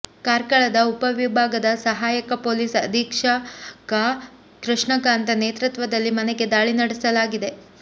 ಕಾರ್ಕಳದ ಉಪ ವಿಭಾಗದ ಸಹಾಯಕ ಪೊಲೀಸ್ ಅಧೀಕ್ಷಕ ಕೃಷ್ಣಕಾಂತ ನೇತೃತ್ವದಲ್ಲಿ ಮನೆಗೆ ದಾಳಿ ನಡೆಸಲಾಗಿದೆ